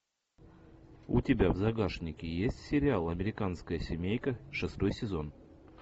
у тебя в загашнике есть сериал американская семейка шестой сезон